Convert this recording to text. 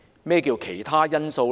何謂"其他因素"呢？